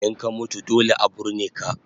In ka mutu dole a burne ka